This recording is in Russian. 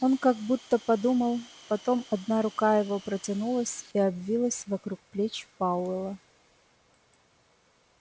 он как будто подумал потом одна рука его протянулась и обвилась вокруг плеч пауэлла